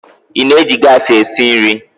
Ị na-eji gas esi nri?